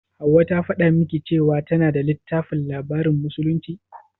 Hauwa ta faɗa miki cewa tana da littafin labarin musulunci?